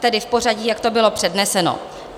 Tedy v pořadí, jak to bylo předneseno.